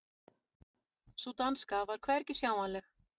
Sú danska var hvergi sjáanleg.